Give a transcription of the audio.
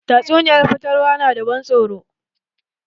Tatsuniyan fatalwa na da ban tsoro.